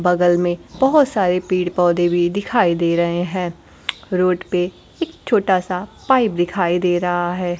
बगल में बहोत सारे पेड़ पौधे भी दिखाई दे रहे हैं रोड पे एक छोटा सा पाइप दिखाई दे रहा है।